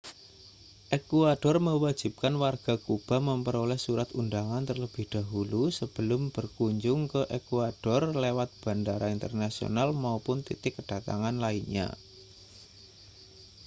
ekuador mewajibkan warga kuba memperoleh surat undangan terlebih dahulu sebelum berkunjung ke ekuador lewat bandara internasional maupun titik kedatangan lainnya